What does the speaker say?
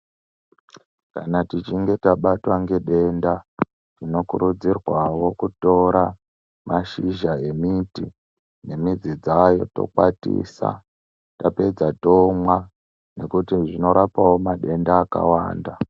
Kana tichinge tabatwa ngedenda, tinokurudzirwawo kutora mashizha emiti nemidzi dzayo , tokwatisa, tapedza tomwa, nokuti zvinorapawo matenda akawanda.